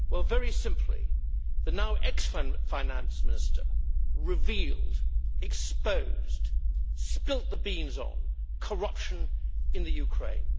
Very simply, the now ex-finance minister revealed, exposed, spilt the beans on corruption in Ukraine.